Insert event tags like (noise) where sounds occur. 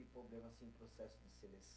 Problema, assim, processo de (unintelligible)